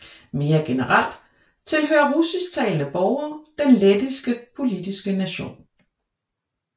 Mere generelt tilhører russisktalende borgere den lettiske politiske nation